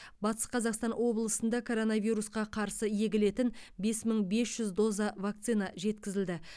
батыс қазақстан облысында коронавирусқа қарсы егілетін бес мың бес жүз доза вакцина жеткізілді